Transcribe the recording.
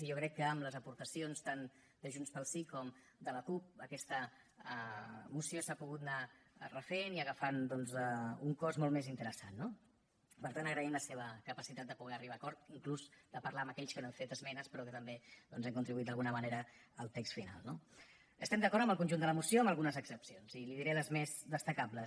i jo crec que amb les aportacions tant de junts pel sí com de la cup aquesta moció s’ha pogut anar refent i agafant doncs un cos molt més interessant no per tant agraïm la seva capacitat de poder arribar a acords inclús de parlar amb aquells que no hem fet esmenes però que també doncs hem contribuït d’alguna manera al text final no estem d’acord amb el conjunt de la moció amb algunes excepcions i li diré les més destacables